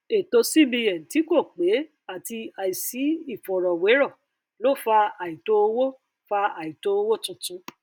ètò cbn tí kò pé àti àìsí ìfọrọwérọ ló fa àìtó owó fa àìtó owó tuntun